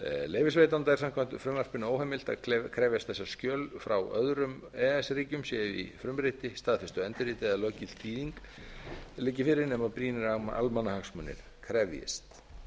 leyfisveitanda er samkvæmt frumvarpinu óheimilt að krefjast þess að skjöl frá öðrum e e s ríkjum séu í frumriti staðfestu endurriti eða löggilt þýðing liggi fyrir nema brýnir almannahagsmunir krefjist